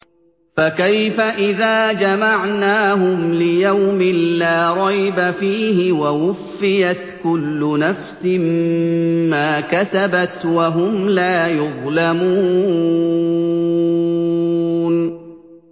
فَكَيْفَ إِذَا جَمَعْنَاهُمْ لِيَوْمٍ لَّا رَيْبَ فِيهِ وَوُفِّيَتْ كُلُّ نَفْسٍ مَّا كَسَبَتْ وَهُمْ لَا يُظْلَمُونَ